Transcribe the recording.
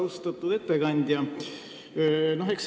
Austatud ettekandja!